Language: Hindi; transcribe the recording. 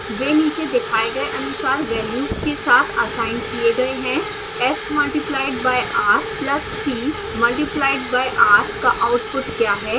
वे नीचे दिखाए गए अनुसार वेल्यूज के साथ असाइन किए गए हैं s multiplied by r plus t multiplied by r का आउटपुट क्या है